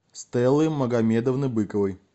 стеллы магомедовны быковой